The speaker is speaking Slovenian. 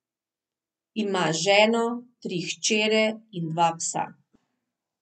Ima ženo, tri hčere in dva psa.